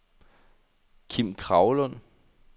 Kim Kragelund